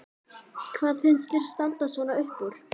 Hvað finnst þér standa svona upp úr?